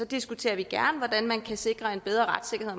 diskuterer vi gerne hvordan man kan sikre en bedre retssikkerhed